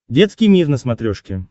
детский мир на смотрешке